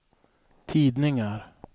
tidningar